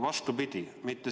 Vastupidi!